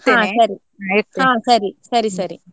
ಸರಿ ಸರಿ.